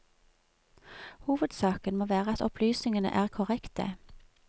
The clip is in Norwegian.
Hovedsaken må være at opplysningene er korrekte.